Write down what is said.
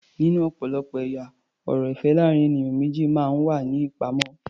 Nínú ọ̀pọ̀lọpọ̀ ẹ̀yà ọ̀rọ̀ ìfẹ́ láàrín ènìyàn méjì máa ń wà ní ìpamọ́.